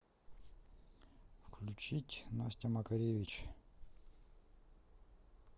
включить настя макаревич